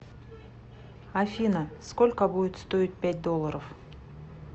афина сколько будет стоить пять долларов